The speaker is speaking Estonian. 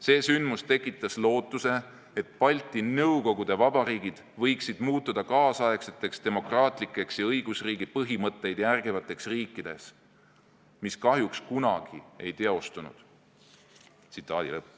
See sündmus tekitas lootuse, et Balti Nõukogude Vabariigid võiksid muutuda kaasaegseteks demokraatlikeks ja õigusriigi põhimõtteid järgivateks riikideks, mis kahjuks kunagi ei teostunud.